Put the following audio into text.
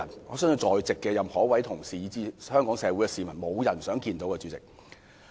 我相信在席的每位同事及全港市民都不想看到有此災難。